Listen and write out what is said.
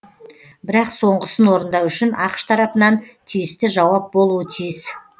бірақ соңғысын орындау үшін ақш тарапынан тиісті жауап болуы тиіс